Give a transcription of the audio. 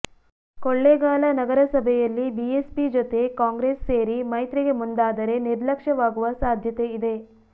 ಕೊಳ್ಳೆಗಾಲ ನಗರಸಭೆಯಲ್ಲಿ ಬಿಎಸ್ಪಿ ಜೊತೆ ಕಾಂಗ್ರೆಸ್ ಸೇರಿ ಮೈತ್ರಿಗೆ ಮುಂದಾದರೆ ನಿರ್ಲಕ್ಷ್ಯವಾಗುವ ಸಾಧ್ಯತೆ ಇದೆ